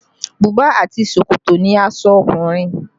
Buba àti ṣòkòtò ni aṣọ ọkùnrin